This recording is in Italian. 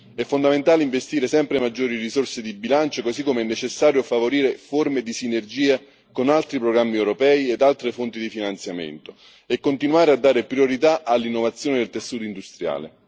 È fondamentale investire sempre maggiori risorse di bilancio, così come è necessario favorire forme di sinergia con altri programmi europei ed altre fonti di finanziamento e continuare a dare priorità all'innovazione del tessuto industriale.